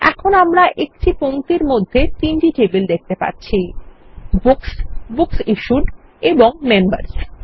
এখন আমরা একটি পংক্তির মধ্যে তিনটি টেবিল দেখতে পাচ্ছি books books issued and members